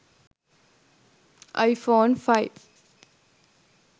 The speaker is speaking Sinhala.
i phone 5